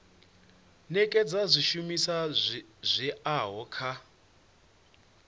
nekedza zwishumiswa zwi oeaho kha